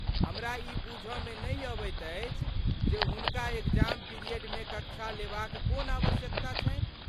हमरा ई बूझ मे नहि अबैत अछि जे हुनका एग्जाम पिरियड मे कक्षा लेबा क कोन आवश्यकता छन्हि।